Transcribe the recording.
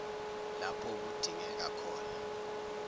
lapho kudingeka khona